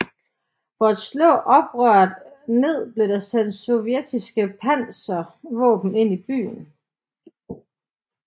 For at slå oprøret ned blev der sendt sovjetiske panservåben ind i byen